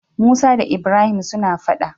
Musa da ibrahim suna faɗa